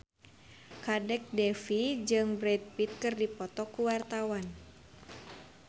Kadek Devi jeung Brad Pitt keur dipoto ku wartawan